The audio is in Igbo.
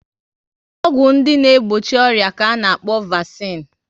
Ọgwụ ndị na egbochi ọrịa ka ana-akpọ vasine